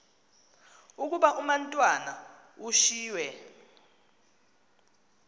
ukuba umatwana ushiywe